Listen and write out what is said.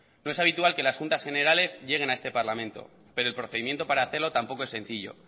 no es habitual que las juntas generales lleguen a este parlamento pero el procedimiento para hacerlo tampoco es sencillo